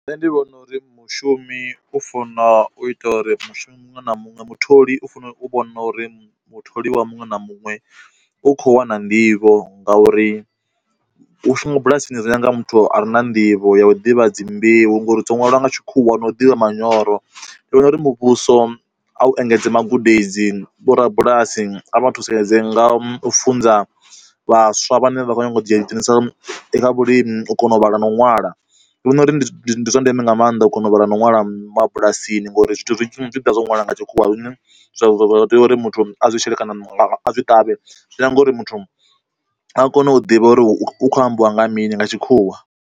Nṋe ndi vhona uri mushumi u funa u ita uri mushumi muṅwe na muṅwe mutholi u fanela u vhona uri mutholiwa muṅwe na muṅwe u kho wana nḓivho ngauri, u shuma bulasini ri nyaga muthu a re na nḓivho ya u ḓivha dzi mbeu ngori dzo nwaliwa nga tshikhuwa no ḓivha manyoro, ndi vhona uri muvhuso a u engedze magudedzi, vhorabulasi a vha thusedze nga u funza vhaswa vhane vha khou nyanga u dzhia ḓi dzhenisa kha vhulimi u kona u vhala na u ṅwala. Ndi vhona uri ndi zwa ndeme nga maanḓa u kona u ra ṅwala mabulasini ngori zwithu zwi tshi ḓa zwo ṅwalwa nga tshikhuwa zwine zwa tea uri muthu a zwishele kana a zwi ṱavhe zwia ngori muthu a kone u ḓivha uri u kho ambiwa nga mini nga tshikhuwa.